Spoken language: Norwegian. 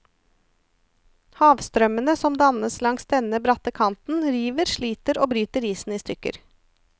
Havstrømmene, som dannes langs denne bratte kanten, river, sliter og bryter isen i stykker.